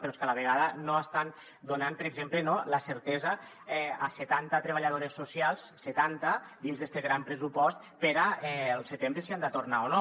però és que a la vegada no estan donant per exemple la certesa a setanta treballadores socials setanta dins d’este gran pressupost per al setembre si han de tornar o no